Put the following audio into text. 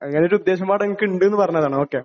അങ്ങനെ ഒരു ഉദ്ദേശം കൂടെ എനിക്ക് ഉണ്ട് നു പറഞ്ഞതാണേ, ഓക്കേ.